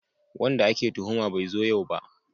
Wanda ake tuhuma bai zo yau ba